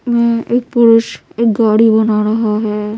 में एक पुरुष एक गाड़ी बना रहा है।